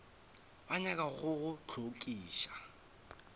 ba nyaka go go hlokiša